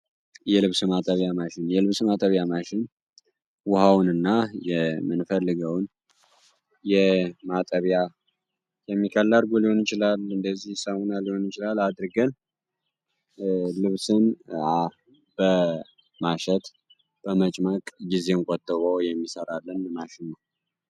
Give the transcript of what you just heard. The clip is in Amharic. የልብስ ማአጠቢያ ማሽን የልብስ ማጠቢያ ማሽን ውሃውን ና የምንፈልገውን የማጠቢያ የሚከላርጉ ሊውን ችላል። እንደዚህ ሳሙና ሊሆን ይችላል አድርገን ልብስን በማሸት በመጭማቅ ጊዜን ቆጥቦ የሚሠራለን ማሽን ነው።